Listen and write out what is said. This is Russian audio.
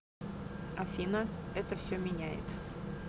афина это все меняет